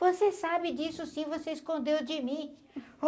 Você sabe disso, sim, você escondeu de mim.